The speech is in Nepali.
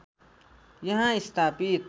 यहाँ स्थापित